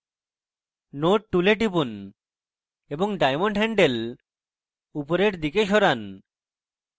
node tool টিপুন এবং diamond handle উপরের দিকে সরান